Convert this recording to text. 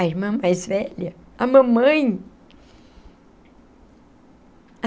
A irmã mais velha, a mamãe.